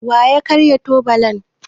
Wa ya karya tubalan?